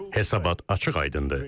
Hesabat açıq-aydındır.